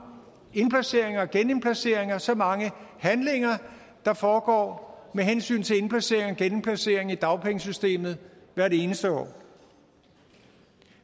indplaceringer og genindplaceringer så mange handlinger der foregår med hensyn til indplacering og genindplacering i dagpengesystemet hvert eneste år